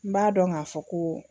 N b'a dɔn k'a fɔ ko